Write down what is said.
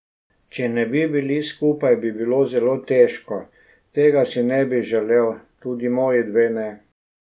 Če ne bi bili skupaj, bi bilo zelo težko, tega si ne bi želel, tudi moji dve ne.